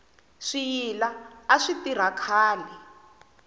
swiyila a swi tirha khale